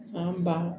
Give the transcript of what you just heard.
Fan ba